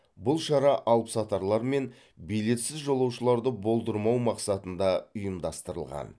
бұл шара алыпсатарлар мен билетсіз жолаушыларды болдырмау мақсатында ұйымдастырылған